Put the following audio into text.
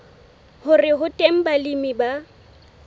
hore ho teng balemi ba